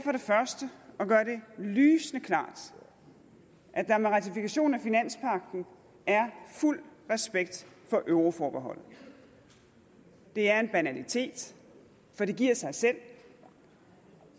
først at gøre det lysende klart at der med ratifikation af finanspagten er fuld respekt for euroforbeholdet det er en banalitet for det giver sig selv